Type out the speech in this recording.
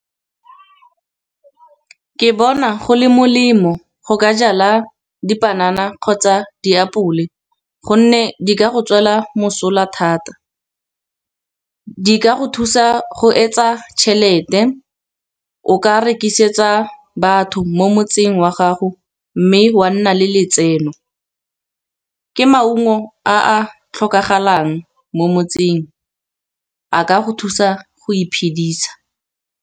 Ke bona go le molemo go ka jala dipanana kgotsa diapole, gonne di ka go tswela mosola thata. Di ka go thusa go etsa tšhelete, o ka rekisetsa batho mo motseng wa gago, mme wa nna le letseno. Ke maungo a a tlhokagalang mo motseng a ka go thusa go iphedisa.